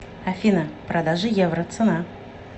афина продажа евро цена